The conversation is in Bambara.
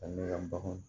Ani ka baganw